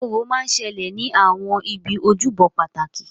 Orò máa ń ṣẹlẹ̀ ní àwọn ibi ojúbọ pàtàkì